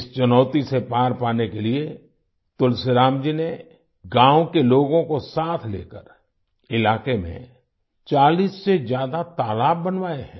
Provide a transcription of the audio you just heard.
इस चुनौती से पार पाने के लिए तुलसीराम जी ने गाँव के लोगों को साथ लेकर इलाके में 40 से ज्यादा तालाब बनवाए हैं